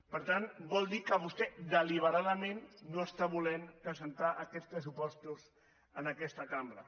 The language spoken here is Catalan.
per tant vol dir que vostè deliberadament no està volent presentar aquests pressupostos en aquesta cambra